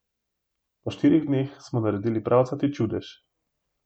V štirih dneh smo naredili pravcati čudež.